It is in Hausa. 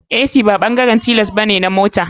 Ac ba bangaren mota bane tilas.